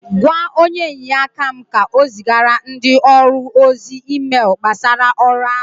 Gwa onye inyeaka m ka o zigara ndị ọrụ ozi meelu gbasara ọrụ áhụ